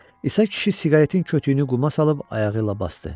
İsa kişi siqaretin kötüyünü quma salıb ayağı ilə basdı.